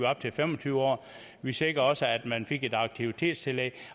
op til fem og tyve år vi sikrede også at man fik et aktivitetstillæg